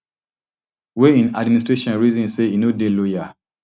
wey im administration reason say e no dey loyal